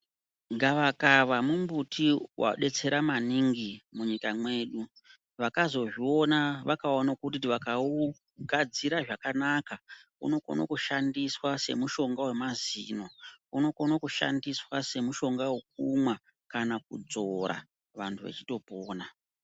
Gavaka mumbuti wadetsera maningi munyika mwedu. Vakazozviona vakaono kuti vakaugadzira zvakanaka unokono kushandiswa semushonga wemazino, unokono kushandiswa semushonga wekumwa kana kudzvora, vantu vachitopona.